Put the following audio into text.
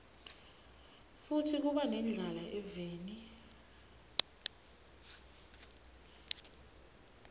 futsi kuba nendlala eveni